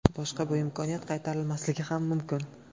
Boshqa bu imkoniyat qaytarilmasligi ham mumkin!